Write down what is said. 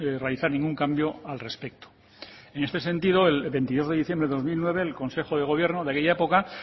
realizar ningún cambio al respecto en este sentido el veintidós de diciembre de dos mil nueve el consejo de gobierno de aquella época